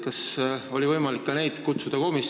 Kas oli võimalik ka neid komisjoni kutsuda?